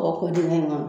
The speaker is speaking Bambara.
O ko dingɛ in kɔnɔ